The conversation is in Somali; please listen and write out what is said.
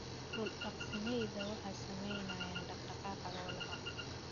Dhul daaqsimeedyada waxaa saameynaya dhaqdhaqaaqa xoolaha.